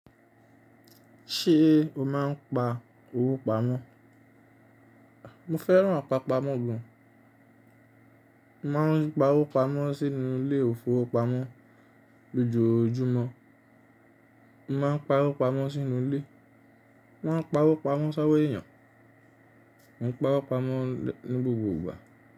Ṣé o máa ń pa owó pamọ́? Mo fẹ́ràn àpapamọ́ gan. Mo máa ń gba owó pamọ́ sínú ilé ifowópamọ́ lójoojúmọ́. Mo máa ń pa owó pamọ́ sínú ilé. Mo máa ń pa owó pamọ́ sán wo èyàn. Mo ń pa owó pamọ́ ní gbogbo ìgbà.